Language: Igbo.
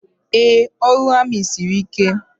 Ee, ọrụ amị siri ike.